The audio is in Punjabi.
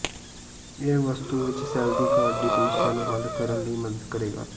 ਇਹ ਵਸਤੂ ਵਿੱਚ ਸੈੱਲ ਦੀ ਘਾਟ ਦੀ ਸਮੱਸਿਆ ਨੂੰ ਹੱਲ ਕਰਨ ਲਈ ਮਦਦ ਕਰੇਗਾ